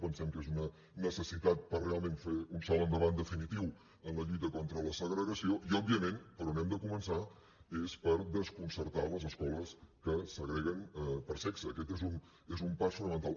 pensem que és una necessitat per realment fer un salt endavant definitiu en la lluita contra la segregació i òbviament per on hem de començar és per desconcertar les escoles que segreguen per sexe aquest és un pas fonamental